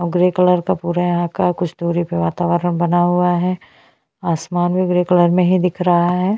और grey colour का पूरा यहाँ का कुछ दूरी पे वातावरण बना हुआ है आसमान भी ग्रे कलर में ही दिख रहा है।